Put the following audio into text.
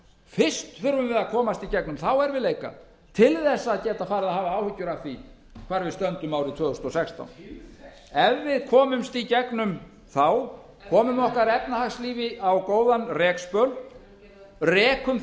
fyrst þurfum við að komast í gegnum þá erfiðleika til að geta farið að hafa áhyggjur af því hvar við stöndum árið tvö þúsund og sextán ef við komumst í gegnum þá komum við okkar efnahagslífi á góðan rekspöl rekum